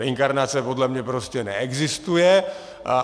Reinkarnace podle mě prostě neexistuje.